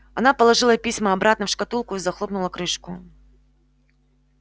она положила письма обратно в шкатулку и захлопнула крышку